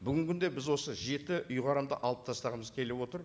бүгінгі күнде біз осы жеті ұйғарымды алып тастағымыз келіп отыр